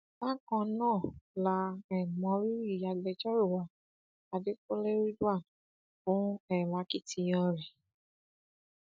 bákan náà la um mọ rírì agbẹjọrò wa adẹkùnlé ridwan fún um akitiyan rẹ